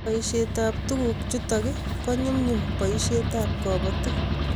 Poshet ab tuguk chutok ko nyumnyumi poshet ab kabatik